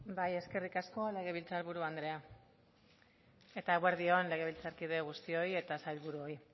eskerrik asko legebiltzar buru andrea eta eguerdi on legebiltzarkide guztioi eta sailburuoi